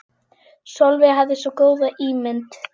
Sólveig hafði svo góða ímynd.